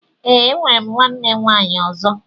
Ee, enwere m nwanne nwaanyị ọzọ